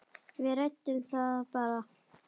Við ræddum það bara.